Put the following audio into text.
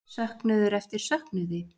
Söknuður eftir söknuði?